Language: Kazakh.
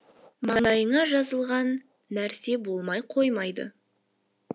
маңдайыңа жазылған нәрсе болмай қоймайды